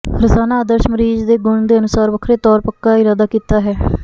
ਰੋਜ਼ਾਨਾ ਆਦਰਸ਼ ਮਰੀਜ਼ ਦੇ ਗੁਣ ਦੇ ਅਨੁਸਾਰ ਵੱਖਰੇ ਤੌਰ ਪੱਕਾ ਇਰਾਦਾ ਕੀਤਾ ਹੈ